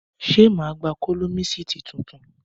Ṣé má gba kólọmísìtí titun?